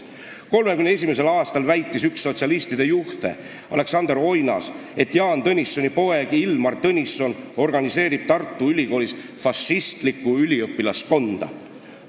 1931. aastal väitis üks sotsialistide juhte Aleksander Oinas, et Jaan Tõnissoni poeg Ilmar Tõnisson organiseerib Tartu Ülikoolis fašistlikku üliõpilaskonda.